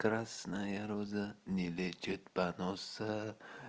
красная роза не лечит поноса